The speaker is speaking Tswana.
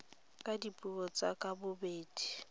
ka dipuo tse ka bobedi